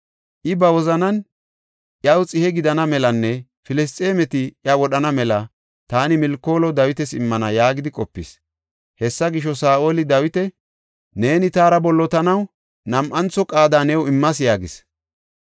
I ba wozanan, “Iyaw xihe gidana melanne Filisxeemeti iya wodhana mela taani Milkoolo Dawitas immana” yaagidi qopis. Hessa gisho, Saa7oli Dawita, “Neeni taara bollotanaw nam7antho qaada new immas” yaagis.